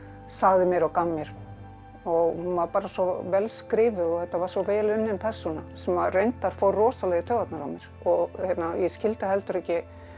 sagði mér og gaf mér hún var bara svo vel skrifuð og þetta var svo vel unnin persóna sem reyndar fór rosalega í taugarnar á mér og ég skildi heldur ekki